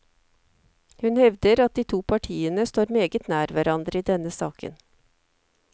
Hun hevder at de to partiene står meget nær hverandre i denne saken.